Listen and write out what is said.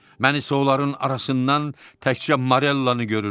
Mən isə onların arasından təkcə Morellanı görürdüm.